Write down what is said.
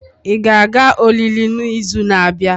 Ị ga-aga olili n'izu na-abịa?